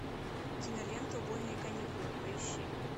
кинолента убойные каникулы поищи